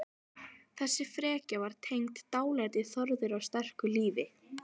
Þessi frekja var tengd dálæti Þórðar á sterku lífi.